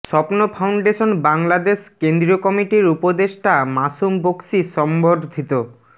স্বপ্ন ফাউন্ডেশন বাংলাদেশ কেন্দ্রীয় কমিটির উপদেষ্টা মাসুম বকশী সংবর্ধিত